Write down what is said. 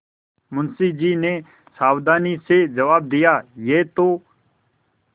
मुंशी जी ने सावधानी से जवाब दियायह तो